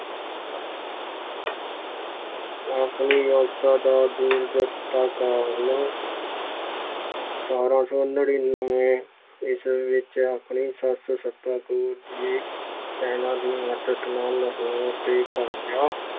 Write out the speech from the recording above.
ਆਪਣੀ ਯੋਗਤਾ ਦੂਰ ਕਾਰਨ ਸਤਾਰਾਂ ਸੌ ਨੜ੍ਹਿਨਵੇਂ ਈਸਵੀ ਵਿੱਚ ਆਪਣੀ ਸੱਸ ਸਦਾ ਕੌਰ ਦੀ ਸੈਨਾ ਦੀ ਮਦਦ ਨਾਲ ਲਾਹੌਰ ਤੇ ਕਬਜ਼ਾ